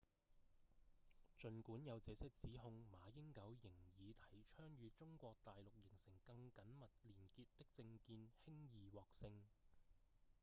儘管有這些指控馬英九仍以提倡與中國大陸形成更緊密連結的政見輕易獲勝